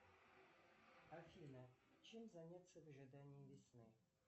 афина чем заняться в ожидании весны